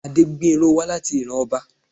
Adégbénró wá láti ìran ọba.